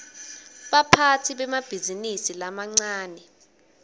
baphatsi bemabhizinisi lamancane